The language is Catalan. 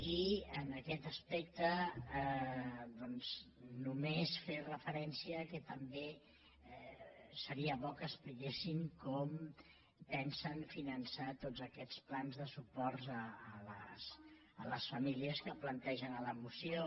i en aquest aspecte doncs només fer referència que també seria bo que expliquessin com pensen finançar tots aquests plans de suport a les famílies que plantegen a la moció